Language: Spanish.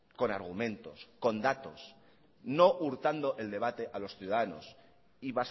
con argumentos con datos no hurtando el debate a los ciudadanos y